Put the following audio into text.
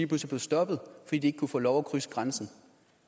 pludselig blev stoppet fordi de ikke kunne få lov at krydse grænsen